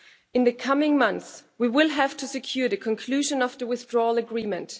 In the coming months we will have to secure the conclusion of the withdrawal agreement.